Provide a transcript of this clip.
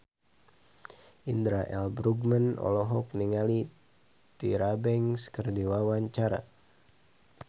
Indra L. Bruggman olohok ningali Tyra Banks keur diwawancara